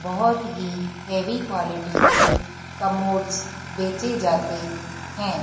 बहोत ही heavy quality के कमोड्स बेचे जाते है।